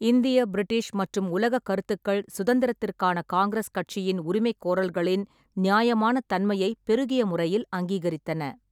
இந்திய, பிரிட்டிஷ் மற்றும் உலகக் கருத்துக்கள் சுதந்திரத்திற்கான காங்கிரஸ் கட்சியின் உரிமைகோரல்களின் நியாமானத் தன்மையை பெருகிய முறையில் அங்கீகரித்தன.